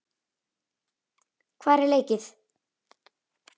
Hvar er leikið?